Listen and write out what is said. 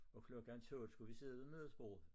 Og klokken 12 skulle vi sidde ved middagsbord